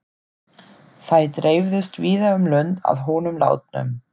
Þær dreifðust víða um lönd að honum látnum.